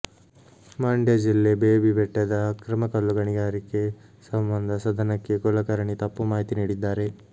ಮಂಡ್ಯ ಜಿಲ್ಲೆ ಬೇಬಿ ಬೆಟ್ಟದ ಅಕ್ರಮ ಕಲ್ಲುಗಣಿಗಾರಿಕೆ ಸಂಬಂಧ ಸದನಕ್ಕೆ ಕುಲಕರ್ಣಿ ತಪ್ಪು ಮಾಹಿತಿ ನೀಡಿದ್ದಾರೆ